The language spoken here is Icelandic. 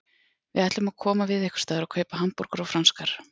Við ætlum að koma við einhversstaðar og kaupa hamborgara og franskar.